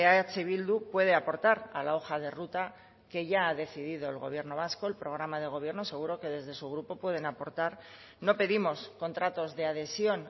eh bildu puede aportar a la hoja de ruta que ya ha decidido el gobierno vasco el programa de gobierno seguro que desde su grupo pueden aportar no pedimos contratos de adhesión